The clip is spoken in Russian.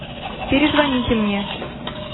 перезвоните мне